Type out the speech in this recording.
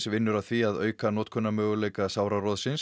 vinnur að því að auka notkunarmöguleika